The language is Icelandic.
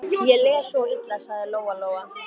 Ég les svo illa, sagði Lóa Lóa.